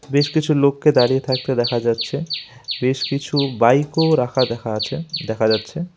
বেশ কিছু লোককে দাঁড়িয়ে থাকতে দেখা যাচ্ছে বেশ কিছু বাইকও রাখা দেখা আছে দেখা যাচ্ছে।